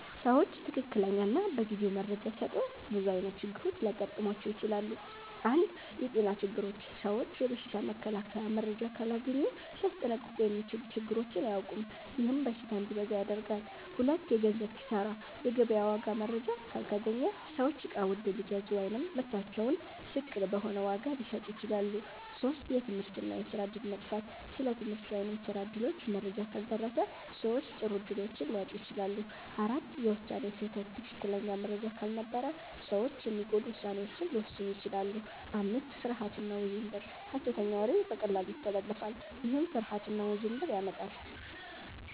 ሰዎች ትክክለኛ እና በጊዜው መረጃ ሲያጡ ብዙ ዓይነት ችግሮች ሊገጥሟቸው ይችላሉ። 1. የጤና ችግሮች ሰዎች የበሽታ መከላከያ መረጃ ካላገኙ ሊያስጠንቀቁ የሚችሉ ነገሮችን አያውቁም፤ ይህም በሽታ እንዲበዛ ያደርጋል። 2. የገንዘብ ኪሳራ የገበያ ዋጋ መረጃ ካልተገኘ ሰዎች እቃ ውድ ሊገዙ ወይም ምርታቸውን ዝቅ በሆነ ዋጋ ሊሸጡ ይችላሉ። 3. የትምህርት እና የስራ እድል መጥፋት ስለ ትምህርት ወይም ስራ እድሎች መረጃ ካልደረሰ ሰዎች ጥሩ እድሎችን ሊያጡ ይችላሉ። 4. የውሳኔ ስህተት ትክክለኛ መረጃ ካልነበረ ሰዎች የሚጎዱ ውሳኔዎችን ሊወስኑ ይችላሉ። 5. ፍርሃት እና ውዥንብር ሐሰተኛ ወሬ በቀላሉ ይተላለፋል፤ ይህም ፍርሃት እና ውዥንብር ያመጣል።